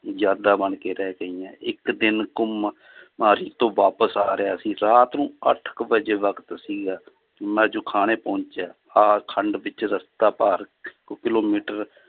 ਯਾਦਾਂ ਬਣਕੇ ਰਹਿ ਗਈਆਂ ਇੱਕ ਦਿਨ ਘੁੰਮ ਤੋਂ ਵਾਪਸ ਆ ਰਿਹਾ ਸੀ ਰਾਤ ਨੂੰ ਅੱਠ ਕੁ ਵਜੇ ਵਕਤ ਸੀਗਾ ਮੈਂ ਜੁਖਾਣੇ ਪਹੁੰਚਿਆ ਆਹ ਖੰਡ ਵਿੱਚ ਰਸਤਾ ਪਾਰ ਕ~ ਕਿੱਲੋਮੀਟਰ